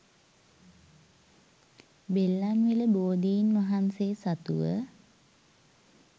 බෙල්ලන්විල බෝධීන් වහන්සේ සතුව